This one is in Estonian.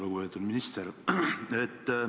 Lugupeetud minister!